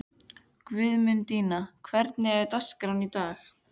Guðmundína, hvernig er dagskráin í dag?